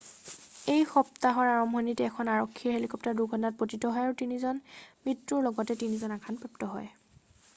এই সপ্তাহৰ আৰম্ভণিত এখন আৰক্ষীৰ হেলিকপ্টাৰ দুৰ্ঘটনাত পতিত হয় আৰু তিনিজনৰ মৃত্যুৰ লগতে তিনিজন আঘাতপ্ৰাপ্ত হয়